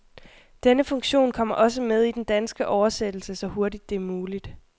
Denne funktion kommer også med i den danske oversættelse, så hurtigt det er muligt.